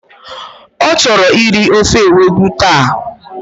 O choro iri ofe ewedú ta.